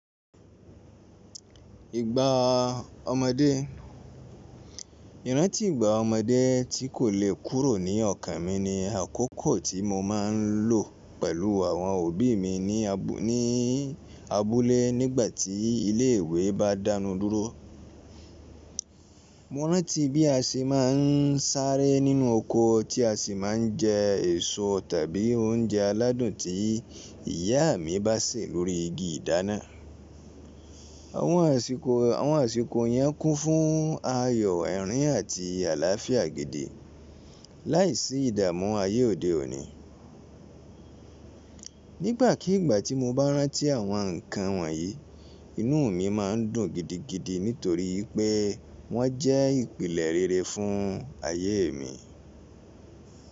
Ìgbà ọmọdé, ìrántí ìgbà ọmọdé tí kò le kúrò ní ọkàn mi ni àkókò tí mo máa ń lò pẹ̀lú àwọn òbí mi ní abúlé nígbà tí ilé ìwé bá dánu dúró. Mo rántí bí a ṣe máa ń sáré nínú oko tí a sì máa ń jẹ èso tàbí oúnjẹ aládùn tí ìyá mi bá sè lórí igi ìdáná. Àwọn àsìkò yẹn kún fún ayọ̀, ẹ̀rín àti àlàáfíà gidi láìsí ìdààmú ayé òde òní. Nígbàkigbà tí mo bá rántí àwọn ǹkan wọ̀nyí, inú mi máa ń dùn gidigidi nítorí pé wọ́n jẹ́ ìpìlẹ̀ rere fún ayé mi.